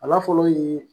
A la fɔlɔ ye